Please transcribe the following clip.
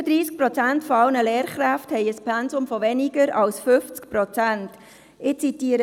35 Prozent aller Lehrkräfte haben ein Pensum von weniger als 50 Prozent.